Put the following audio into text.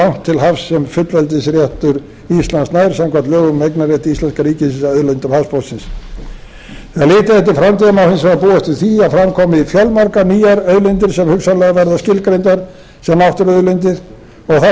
samkvæmt lögum um eignarrétt íslenska ríkisins að auðlindum hafsbotnsins ef litið er framtíðar má hins vegar búast við því að fram komi fjölmargar nýjar auðlindir sem hugsanlega verða skilgreindar sem náttúruauðlindir og þá